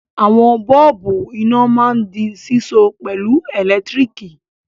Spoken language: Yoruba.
Àwọn bọ́ọ́bú iná máa ń di síso pẹ̀lú ẹ̀lẹ́tíríkì.